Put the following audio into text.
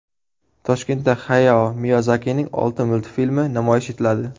Toshkentda Hayao Miyazakining olti multfilmi namoyish etiladi.